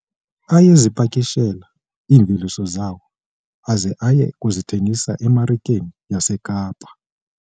Ayezipakishela iimveliso zawo aze aye kuzithengisa emarikeni yaseKapa.